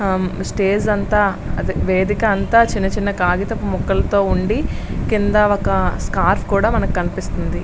Stage అంతా వేదిక అంతా చిన్న చిన్న కాగితపు మొక్కలతో ఉండి కింద ఒక స్కార్ఫ్ కూడా కనిపిస్తుంది.